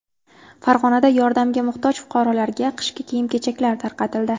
Farg‘onada yordamga muhtoj fuqarolarga qishki kiyim-kechaklar tarqatildi .